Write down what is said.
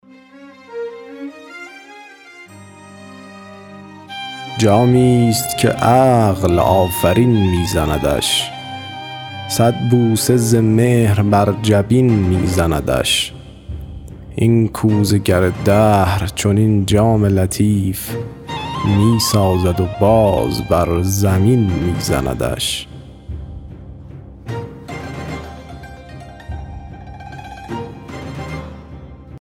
جامی است که عقل آفرین می زندش صد بوسه ز مهر بر جبین می زندش این کوزه گر دهر چنین جام لطیف می سازد و باز بر زمین می زندش